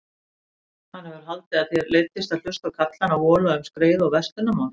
Hann hefur haldið að þér leiddist að hlusta á karlana vola um skreið og verslunarmál.